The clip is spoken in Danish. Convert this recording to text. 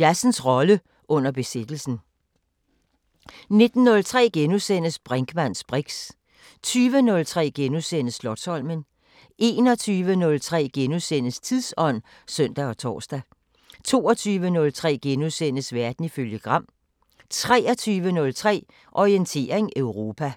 Jazzens rolle under besættelsen 19:03: Brinkmanns briks * 20:03: Slotsholmen * 21:03: Tidsånd *(søn og tor) 22:03: Verden ifølge Gram * 23:03: Orientering Europa